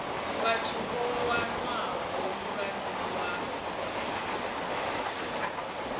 vhathu vho wanwaho mulandu wa